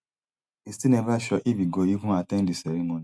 e still never sure if e go even at ten d di ceremony